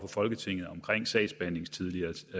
folketinget om sagsbehandlingstider